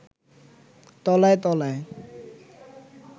তলায় তলায়